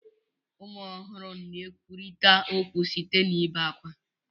Ụmụ ọhụrụ na-ekwurịta okwu site n'ebe ákwá.